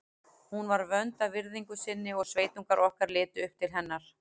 Hún var vönd að virðingu sinni og sveitungar okkar litu upp til hennar.